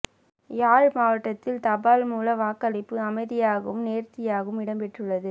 யாழ் மாவட்டத்தில் தபால் மூல வாக்களிப்பு அமைதியாகவும் நேர்த்தியாகவும் இடம்பெற்றுள்ளது